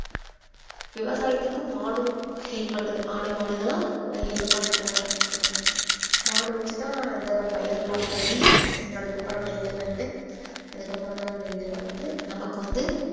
விவசாயத்துக்கு மாடும் help பண்ணுது ஆடு மாடு இதெல்லாம் ஒரு help பண்ற இது தான் மாடு வெச்சு தான் அந்த பயிரெல்லாம் ஓட்டி அதுக்கப்புறம் நெல்லு நட்டு அதுக்கப்புறமா நெல்லு வளர்ந்து நமக்கு வந்து